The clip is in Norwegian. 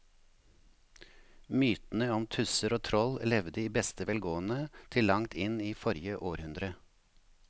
Mytene om tusser og troll levde i beste velgående til langt inn i forrige århundre.